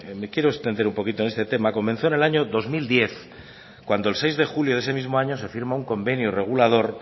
me quiero extender un poco en este tema comenzó en el año dos mil diez cuando el seis de julio de ese mismo año se firma un convenio regulador